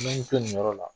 N bɛ n to nin yɔrɔ la